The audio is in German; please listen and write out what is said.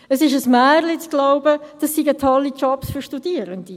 Es ist ein Märchen zu glauben, dies seien tolle Jobs für Studierende!